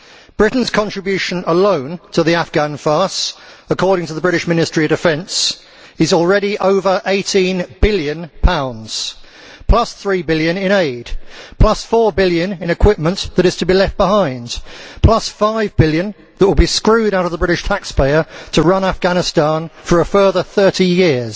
Britain's contribution alone to the Afghan farce, according to the British Ministry of Defence, is already over GBP 18 billion, plus GBP 3 billion in aid, plus GBP 4 billion in equipment that is to be left behind, plus GBP 5 billion that will be screwed out of the British taxpayer to run Afghanistan for a further 30 years.